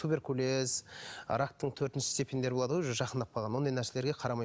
туберкулез рактың төртінші степеньдері болады ғой уже жақындап қалған ондай нәрселерге қарамай